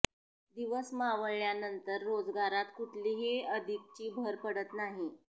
दिवस मावळल्यानंतर रोजगारात कुठलीही अधिकची भर पडत नाही